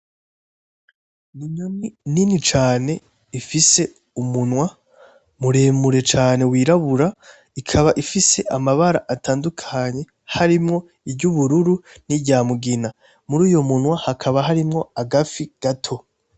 Inyoni nini cane ifise umunwa muremure cane wirabura ikaba ifise amabar' atandukanye harimwo; iry'ubururu nirya mugina, muruyo munwa hakaba harimwo agafi gato.